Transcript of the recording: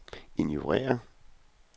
ignorér